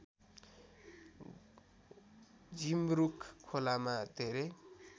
झिमरुक खोलामा धेरै